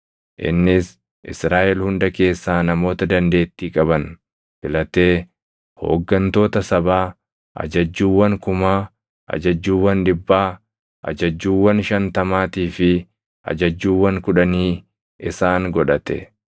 Innis Israaʼel hunda keessaa namoota dandeettii qaban filatee hooggantoota sabaa, ajajjuuwwan kumaa, ajajjuuwwan dhibbaa, ajajjuuwwan shantamaatii fi ajajjuuwwan kudhanii isaan godhate.